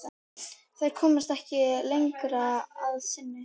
Þær komast ekki lengra að sinni.